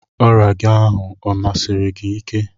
Ọrịa gị ahụ o mesiri gị ike?